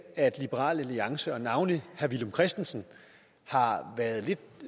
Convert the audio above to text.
at liberal alliance og navnlig herre villum christensen har været